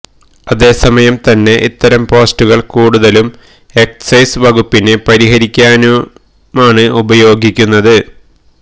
അതേസമം തന്നെ ഇത്തരം പോസ്റ്റുകള് കൂടുതലും എക്സൈസ് വകുപ്പിനെ പരിഹസിക്കാനുമാണ് ഉപയോഗിക്കുന്നത്